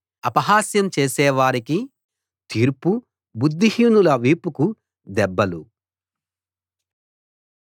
అపహాస్యం చేసేవారికి తీర్పు బుద్ధిహీనుల వీపుకు దెబ్బలు